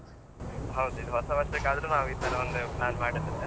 ಹೌದು ಇನ್ನು ಹೊಸ ವರ್ಷಕ್ಕಾದ್ರು ನಾವು ಈತರ ಒಂದು plan ಮಾಡ್ಬೇಕು.